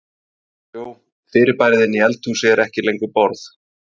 Jú fyrirbærið inni í eldhúsi er ekki lengur borð.